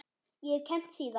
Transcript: Ég hef kennt síðan.